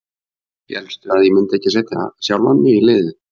Hélstu að ég myndi ekki setja sjálfan mig í liðið?